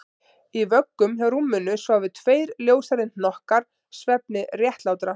Í vöggum hjá rúminu sváfu tveir ljóshærðir hnokkar svefni réttlátra